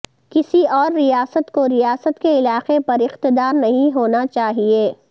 کسی اور ریاست کو ریاست کے علاقے پر اقتدار نہیں ہونا چاہئے